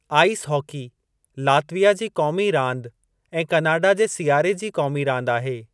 Ice hockey Latvia जी क़ोमी रांदि ऐं कनाडा जे सियारे जी क़ोमी रांदि आहे।